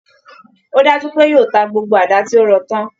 Ó dájú pé yóò ta gbgbo àdá tí ó rọ tán